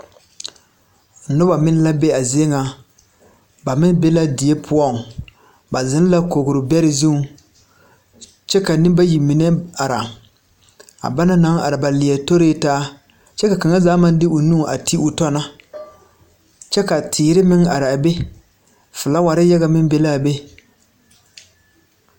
Nobɔ meŋ la be a zie ŋa ba meŋ be la die poɔŋ ba zeŋ la kogre bɛrɛ zuŋ kyɛ ka neŋ bayi mine ara a ba naŋ are ba leɛ toritaa kyɛ ka kaŋa zaa maŋ de o nu a te o tɔ na kyɛ ka teere meŋ araa be flaawarre yaga meŋ be laa be.